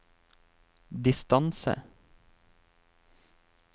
distance